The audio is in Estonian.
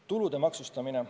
Tulude maksustamine.